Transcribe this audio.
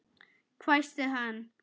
hvæsti hann.